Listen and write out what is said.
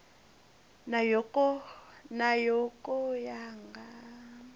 na yo ka ya nga